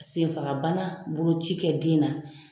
Senfagabana boloci kɛ den na.